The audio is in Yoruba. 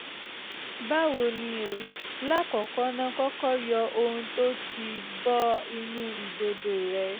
báwo ni o? lákọ̀ọ́kọ́ ná kọ́kọ́ yọ ohun tó o tì bọ inú ìdodo rẹ